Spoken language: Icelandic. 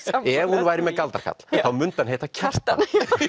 ef hún væri með galdrakarl þá mundi hann heita Kjartan